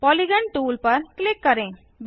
polygon tool पर click करें